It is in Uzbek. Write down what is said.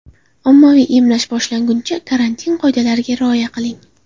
Ommaviy emlash boshlanguncha karantin qoidalariga rioya qiling.